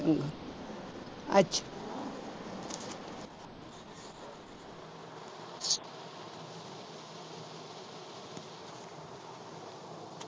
ਅੱਛਾ।